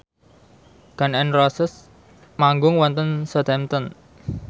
Gun n Roses manggung wonten Southampton